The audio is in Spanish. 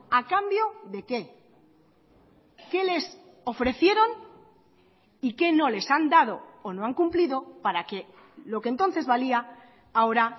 a cambio de qué qué les ofrecieron y qué no les han dado o no han cumplido para que lo que entonces valía ahora